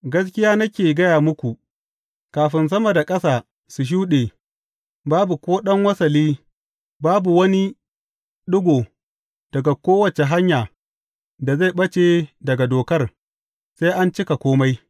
Gaskiya nake gaya muku, kafin sama da ƙasa sun shuɗe, babu ko ɗan wasali, babu wani ɗigo ta kowace hanya da zai ɓace daga Dokar, sai an cika kome.